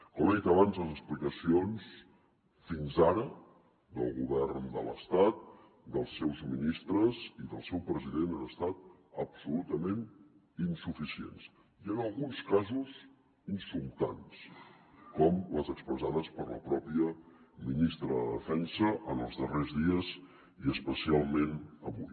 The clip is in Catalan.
com he dit abans les explicacions fins ara del govern de l’estat dels seus ministres i del seu president han estat absolutament insuficients i en alguns casos insultants com les expressades per la pròpia ministra de defensa en els darrers dies i especialment avui